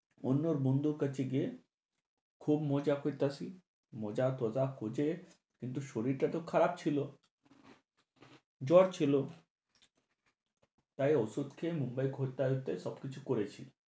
অন্য বন্ধুর কাছে গিয়ে খুব মজা কইতাছি, মজা-তজা কজে, কিন্তু শরীরটা তো খারাপ ছিলো, জ্বর ছিলো। তাই ঔষধ খেয়ে মুম্বাই ঘুরতে-তুত্তে সবকিছু করেছি।